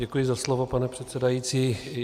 Děkuji za slovo, pane předsedající.